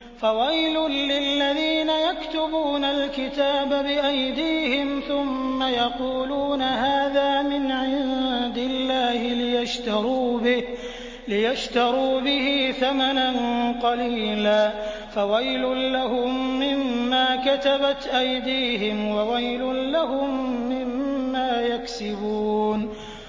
فَوَيْلٌ لِّلَّذِينَ يَكْتُبُونَ الْكِتَابَ بِأَيْدِيهِمْ ثُمَّ يَقُولُونَ هَٰذَا مِنْ عِندِ اللَّهِ لِيَشْتَرُوا بِهِ ثَمَنًا قَلِيلًا ۖ فَوَيْلٌ لَّهُم مِّمَّا كَتَبَتْ أَيْدِيهِمْ وَوَيْلٌ لَّهُم مِّمَّا يَكْسِبُونَ